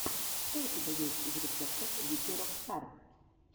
что у тебя есть из рецептов вики рок стар